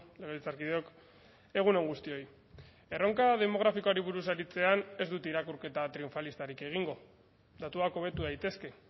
legebiltzarkideok egun on guztioi erronka demografikoari buruz aritzean ez dut irakurketa triunfalistarik egingo datuak hobetu daitezke